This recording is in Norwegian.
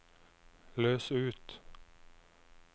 løs ut